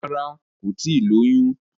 Rárá, kò tíì lóyún.